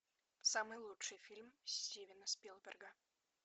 самый лучший фильм стивена спилберга